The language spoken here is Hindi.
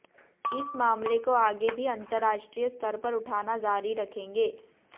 इस मामले को आगे भी अंतरराष्ट्रीय स्तर पर उठाना जारी रखेंगे